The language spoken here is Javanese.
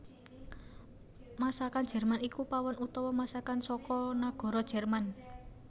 Masakan Jerman iku pawon utawa masakan saka nagara Jerman